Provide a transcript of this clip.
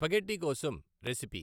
spaghetti కోసం recipe